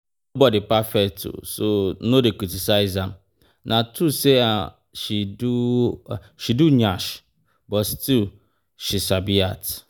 Nobody perfect so no dey criticise am. Na true say she do she do nyash but she still sabi act